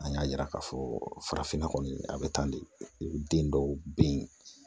An y'a yira k'a fɔ farafinna kɔni a bɛ tan de den dɔw be yen